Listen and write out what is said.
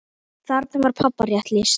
Þarna var pabba rétt lýst.